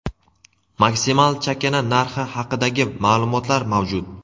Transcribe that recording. maksimal chakana narxi haqidagi ma’lumotlar mavjud.